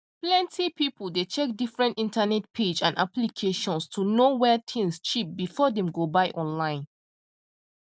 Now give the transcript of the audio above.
plenty people dey check different internet page and applications to know where things cheap before dem go buy online